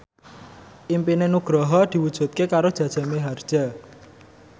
impine Nugroho diwujudke karo Jaja Mihardja